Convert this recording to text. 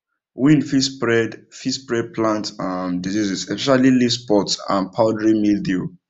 wind fit spread fit spread plant um diseases especially leaf spot and powdery mildew